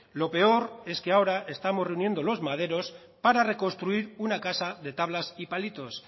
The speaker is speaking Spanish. lo peor es que ahora estamos reuniendo los maderos para reconstruir una casa de tablas y palitos